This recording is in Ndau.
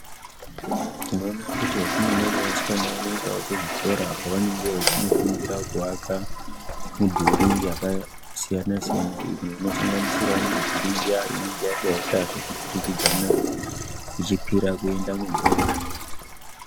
Tinoona kuti vakomana nevasikana vanoendawo kuzvikora kwavanenge vachinofundira kuaka midhuri yakasiyana siyana imwe inosanganisira midhuri iya inenge yakaturikidzana ichikwira kuenda mudenga.